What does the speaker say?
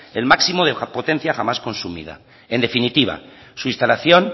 el máximo de la pontencia jamás consumida en definitiva su instalación